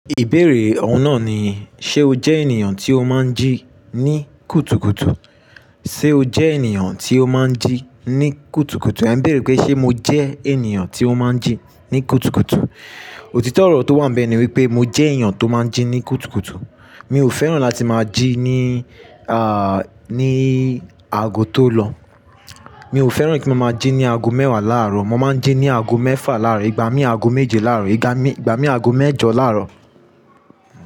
Ìbéèrè òun náà ni, ṣe o jẹ́ ènìyàn tí o máa ń jí ní kùtùkùtù? Ṣe o jẹ́ ènìyàn tí o máa ń jí ní kùtùkùtù? È ń béèrè pé ṣe mo jẹ́ ènìyàn tí ó máa ń jí ní kùtùkùtù? Òtítọ́ ọ̀rọ̀ tó wà níbẹ̀ ni wípé mo jẹ́ ènìyàn tó máa ń jí ní kùtùkùtù. Mi ò fẹ́ràn láti máa jí ní, à, ní aago tó lọ. Mi ò fẹ́ràn kí mo máa jí ní aago mẹ́wàá láàárọ̀. Mo máa ń jí ní aago mẹ́fà láàárọ̀, ìgbà mí aago méje láàárọ̀, ìgbà mí aago mẹ́jọ láàárọ̀